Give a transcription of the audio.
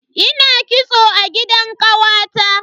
Ina kitso a gidan kawata.